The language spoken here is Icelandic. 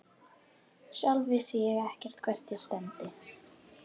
Sjálf vissi ég ekkert hvert ég stefndi.